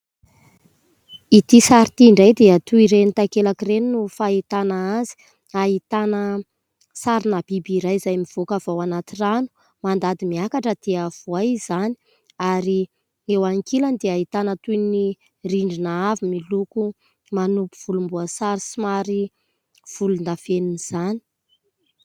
Ity sary ity indray dia toy iren'ny takelaka ireny no fahitana azy. Ahitana sarina biby iray izay mivoaka avy ao anaty rano, mandady miakatra dia voay izany. Ary eo ankilany dia ahitana toy ny rindrina avo miloko manompo volomboasary somary volon-dafenina izany.